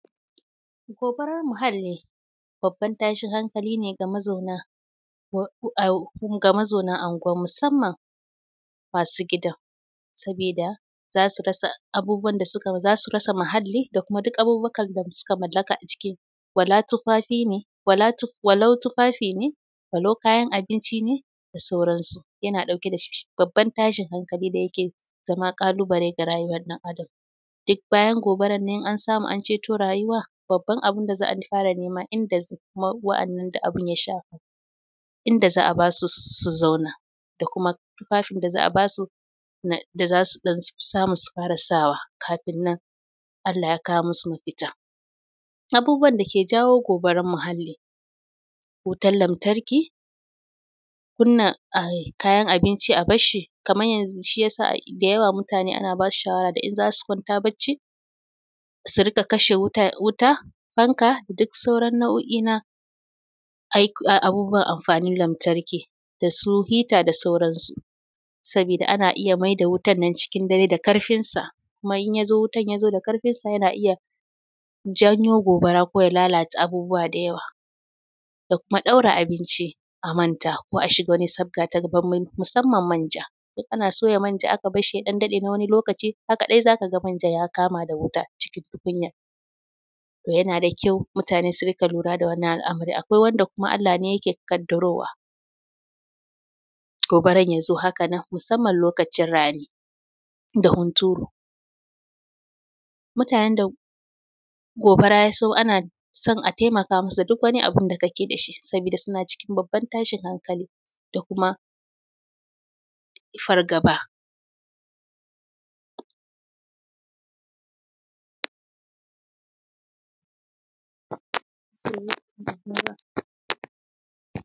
Gobarar muhalli babban tashin hankali ne ga mazauna ga mazauna anguwan musamman masu gidan. Sabida za su rasa um abubuwan da suka za su rasa mahalli da kuma duk abubukan da suka mallaka a ciki, wala tufafi ne, walau tufafi ne, walau kayan abinci ne da sauransu. Yana ɗauke da babban tashin hankali da yake zama ƙalubale ga rayuwar ɗan adam. Dik bayan gobarar ne in an samu an cito rayuwa, babban abun da za a fara nema inda za wa'annan da abun ya shafa inda za a ba su su su zauna, da kuma tufafin da za'a ba su na da zasu ɗan samu su fara sawa kafin nan Allah ya kawo masu mafita. Abubuwan da ke jawo gobarar muhalli: wutar lamtarki, kunna um kayan abinci a bashshi kaman yanzu shi ya sa um da yawa mutane ana basu shawara da in za su kwanta bacci su riƙa kashe wuta wuta, fanka, dik sauran nau'o'in na abubuwan amfanin lamtarki, da su hita da sauransu. Sabida ana iya maida wutan nan cikin dare da karfinsa kuma in ya zo wutan ya zo da karfinsa yana iya janyo gobara ko ya lalata abubuwa da yawa, da kuma ɗaura abinci a manta, ko a shiga wani sabga ta musamman manja. In ana soya manja aka bashshi ya ɗan daɗe na wani lokaci, haka ɗai za ka ga manjan ya kama da wuta cikin tukunyar. Toh, yana da kyau mutane su rika lura da wannan al'amarin. Akwai wanda kuma Allah ne yake kaddarowa gobaran ya zo haka nan, musamman lokaci rani da hunturu. Mutanen da gobara ya so a na son a taimaka musu duk wani abun da kake da shi sabida suna cikin babban tashin hankali da kuma fargaba